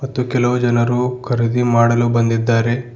ಮತ್ತು ಕೆಲವು ಜನರು ಖರೀದಿ ಮಾಡಲು ಬಂದಿದ್ದಾರೆ.